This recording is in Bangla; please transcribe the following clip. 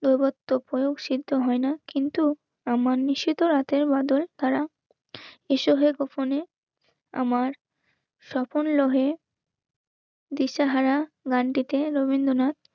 করেও সিদ্ধ হয় না. কিন্তু আমার নিষিদ্ধ রাতের বাঁদর তাঁরা এসো হয়তো ফোনে আমার স্বপন লোহে দিশাহারা গানটিকে রবীন্দ্রনাথ